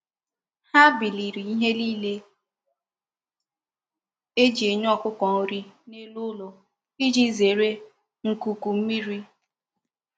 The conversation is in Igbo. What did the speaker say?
Ha biliri ihe nile e ji enye okoko nri n'elu ulo, Iji zere nkuku mmiri.